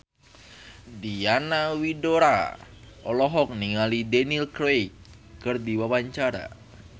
Diana Widoera olohok ningali Daniel Craig keur diwawancara